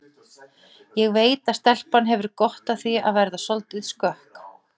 Ég veit að stelpan hefur gott af því að verða soldið skökk